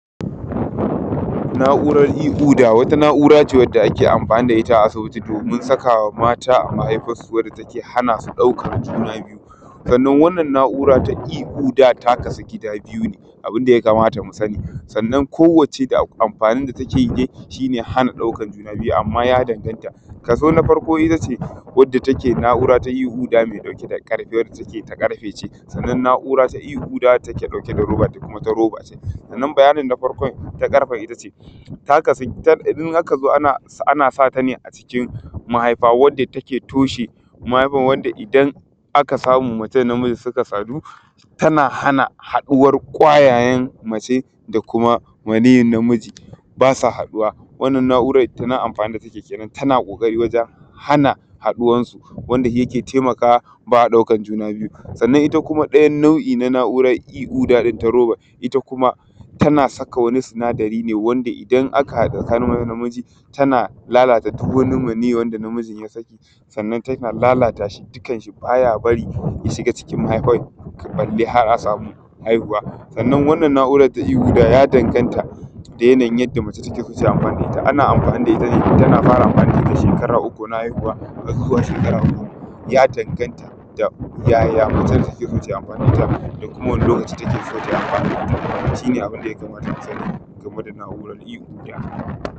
Na’uran ikoda wata na’ura ce da ake amfani da ita asibiti domin saka wa mata mahaifan su ya hana su ɗaukan juna biyu, sannan wannan na’ura na ikoda ya kasu kashi biyu ne. Abun da ya kamata mu sani sanann ko wanne da amfani da take yi shi ne hana ɗaukan juna biyu, amma ya danganta, ka so na farko shi ne wadda take na’ura na iƙuda wadda take ɗauke da roba sannan bayanin na farkon na ƙarfen ita ce ta kasu in aka zo ana sa ta ne a cikin mahaifa wadda ake toshe mahaifan wadda idan aka samu mutum na miji suka sadu tana hana haɗuwar kwayayen a ce da kuma maniyin na miji ba sa haɗuwa. Wannan na’uran ita amfanin da take yi kenan tana ƙoƙari wajen hana haɗuwar su wanda shi yake taimakawa ba a ɗaukan juna biyu, sannan ita ɗayan nau’i na juna biyu iƙuda in na roban ita kuma tana saka wani sinadari ne wanda idan aka haɗu da namiji tana lalata duk wani maniyi wanda na mjin ya saki sannan tana lalata shi dukan shi baya bari ya shiga cikin mahaifan balle har a samu haihuwa. Sannan wannan na’urar ta iƙuda ya danganta da yanayin yadda mace take, ku sa amfani da ita ana amfani da ita ne du kana fara amfani da shi ta shekara uku na haihuwa zuwa shekara huɗu. Ya danganta yaya macen da ke so ta yi amfani da ita, da kuma wani lokaci take so ta yi amfani da ita shi ne abun da ya kamata a sani game da na’uar iƙoda.